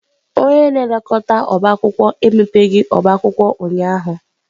Onye na-elekọta ọbá akwụkwọ emebeghị ọba akwụkwọ ụnyahụ.